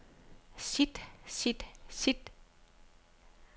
sit sit sit